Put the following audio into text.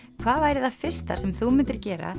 hvað væri það fyrsta sem þú myndir gera